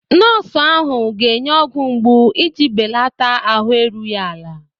Nọọsụ ahụ ga-enye ọgwụ mgbu iji belata ahụ erughị ala.